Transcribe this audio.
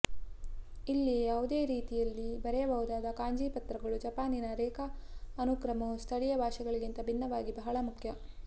ಇದು ಯಾವುದೇ ರೀತಿಯಲ್ಲಿ ಬರೆಯಬಹುದು ಕಾಂಜಿ ಪಾತ್ರಗಳು ಜಪಾನಿನ ರೇಖಾ ಅನುಕ್ರಮವು ಸ್ಥಳೀಯ ಭಾಷೆಗಳಿಂದ ಭಿನ್ನವಾಗಿ ಬಹಳ ಮುಖ್ಯ